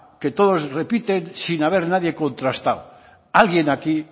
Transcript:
que todos repiten sin haber nadie contrastado alguien aquí